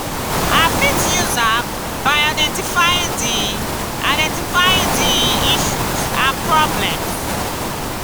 i fit use am by identifying di identifying di issues and problems.